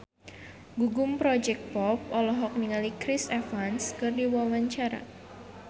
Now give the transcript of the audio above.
Gugum Project Pop olohok ningali Chris Evans keur diwawancara